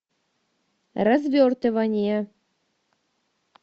развертывание